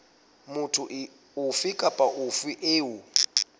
motho ofe kapa ofe eo